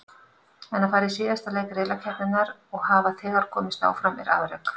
En að fara í síðasta leik riðlakeppninnar og hafa þegar komist áfram er afrek.